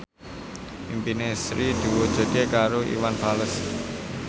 impine Sri diwujudke karo Iwan Fals